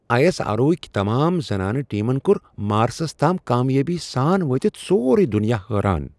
I S R O ہکۍ تمام زنانہ ٹیمن کوٚر مارسس تام کامیٲبی سان وٲتتھ سورے دنیا حٲران۔